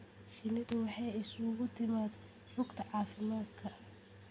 Shinnidu waxay isugu timaad rugta caafimaadka.